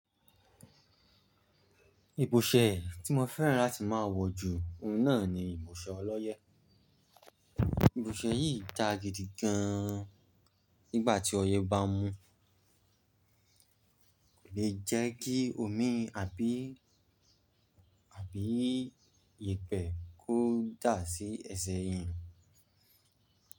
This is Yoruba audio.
Ìbòṣẹ́ tí mo fẹ́ràn láti máa wọ̀ ju ohun náà ni ìbòṣẹ ọlọ́yẹ́. Ìbòṣẹ́ yìí dá gidi gan nígbà tí ọyẹ́ bá mu, le jẹ́ kí omi àbí, àbí iyẹ̀pẹ̀ kó dà sí ẹsẹ̀ eeyan.